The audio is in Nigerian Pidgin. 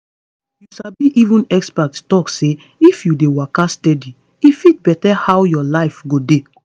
you sabi even expert talk say if you dey waka steady e fit better how your life go dey.